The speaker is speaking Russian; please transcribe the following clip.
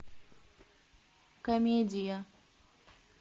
комедия